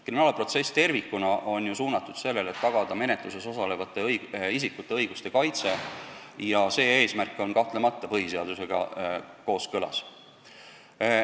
Kriminaalprotsess tervikuna on ju suunatud sellele, et tagada menetlusega seotud isikute õiguste kaitse ja see eesmärk on kahtlemata põhiseadusega kooskõlas.